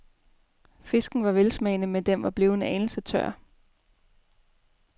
Fisken var velsmagende, men den var blevet en anelse tør.